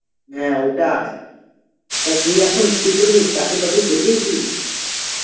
হ্যাঁ ওটাই, তা তুই এখন কী করবি চাকরি বাকরি করবি কি?